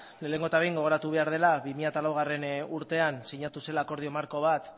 lehenengo eta behin gogoratu behar dela bi mila laugarrena urtean sinatu zela akordio marko bat